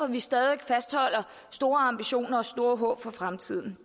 vi stadig væk fastholder store ambitioner og store håb for fremtiden